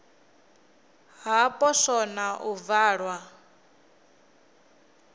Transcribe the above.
ha poswo na u valwa